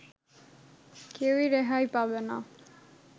কেউই রেহাই পাবে না